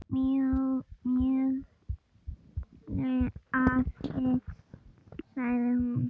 Mjög hlaðið segir hún.